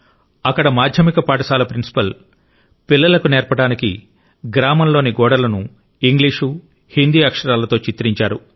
అక్కడ మాధ్యమిక పాఠశాల ప్రిన్సిపాల్ పిల్లలకు నేర్పడానికి గ్రామంలోని గోడలను ఇంగ్లీషు హిందీ అక్షరాలతో చిత్రించారు